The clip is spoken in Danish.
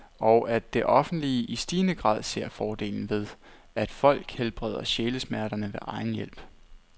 Og at det offentlige i stigende grad ser fordelen ved, at folk helbreder sjælesmerterne ved egen hjælp.